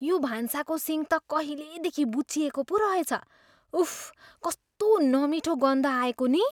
यो भान्साको सिङ्क त कहिलेदेखि बुच्चिएको पो रहेछ। उफ्! कस्तो नमिठो गन्ध आएको नि!